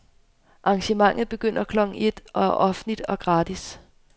Arrangementet begynder klokken et og er offentligt og gratis.